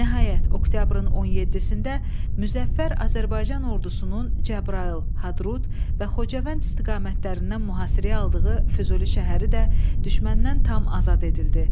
Nəhayət, oktyabrın 17-də Müzəffər Azərbaycan ordusunun Cəbrayıl, Hadrut və Xocavənd istiqamətlərindən mühasirəyə aldığı Füzuli şəhəri də düşməndən tam azad edildi.